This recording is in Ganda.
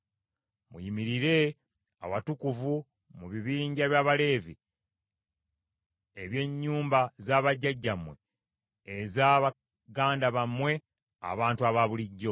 “Muyimirire awatukuvu mu bibinja eby’Abaleevi eby’ennyumba za bajjajjammwe eza baganda bammwe abantu abaabulijjo.